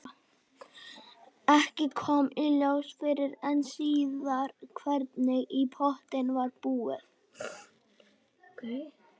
Ekki kom í ljós fyrr en síðar hvernig í pottinn var búið.